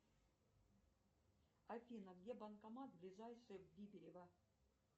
афина где банкомат ближайший в бибирево